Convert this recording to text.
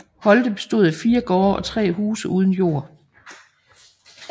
Holte bestod af fire gårde og tre huse uden jord